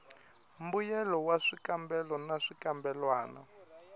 mbuyelo wa swikambelo na swikambelwana